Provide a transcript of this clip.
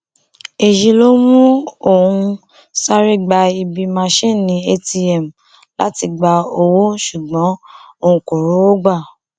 èyí ló mú òun sáré gba ibi másinni atm láti gba owó ṣùgbọn òun kò rówó gbà